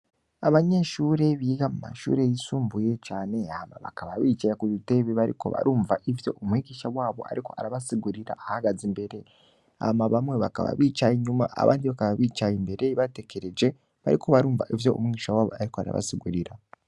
Abanyeshure biga mumashure yisumbuye cane hama bakaba bicaye kubitebe bariko barumva ivyo umwigisha wabo ariko arabasigurira ahagaze imbere hama bamwe bakaba bicaye inyuma abandi bakaba bicaye imbere batekereje bariko barumva ivyo umwigisha wabo ariko arabasigurira